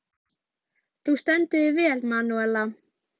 Þegar menn vöknuðu fundu þeir sofandi fiðrildi á kinnum sínum.